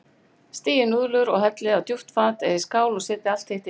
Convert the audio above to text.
Sigtið núðlurnar og hellið á djúpt fat eða í skál og setjið allt hitt yfir.